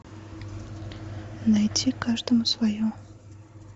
найти каждому свое